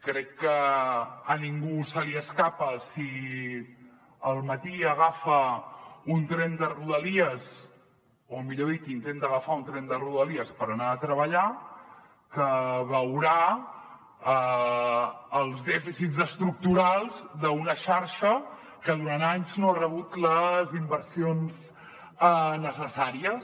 crec que a ningú se li escapa si al matí agafa un tren de rodalies o millor dit intenta agafar un tren de rodalies per anar a treballar que veurà els dèficits estructurals d’una xarxa que durant anys no ha rebut les inversions necessàries